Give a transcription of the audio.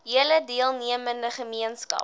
hele deelnemende gemeenskap